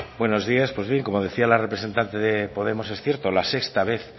buenos días pues bien como decía la representante de podemos es cierto la sexta vez